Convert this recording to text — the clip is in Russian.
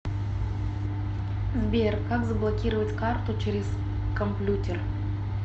сбер как заблокировать карту через комплютер